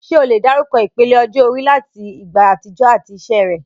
Ṣé o lè dárúkọ ìpele ọjọ́ orí láti ìgbà àtijọ́ àti iṣẹ́ rẹ̀?